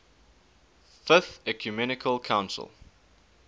fifth ecumenical council